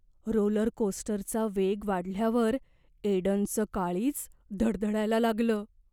Roller कोस्टरचा वेग वाढल्यावर एडनचं काळीज धडधडायला लागलं.